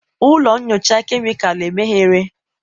ụlọ nyocha kemịkalụ emeghere?